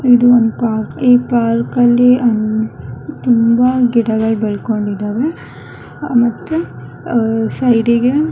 ಇದು ಒಂದು ಪಾರ್ಕ್ ಈ ಪಾರ್ಕ್ ಅಲ್ಲಿ ಆಹ್ಹ್ ತುಂಬ ಗಿಡಗಳು ಬೆಳ್ಕೊಂಡಿದ್ದಾವೆ ಮತ್ತು ಆಹ್ಹ್ ಸೈಡ್ ಗೆ--